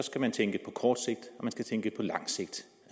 også